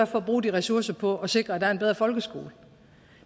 for at bruge de ressourcer på at sikre at der er en bedre folkeskole